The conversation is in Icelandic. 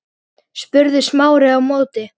spurði Smári á móti.